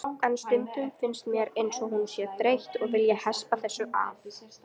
En stundum finnst mér eins og hún sé þreytt og vilji hespa þessu af.